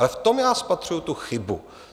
Ale v tom já spatřuji tu chybu.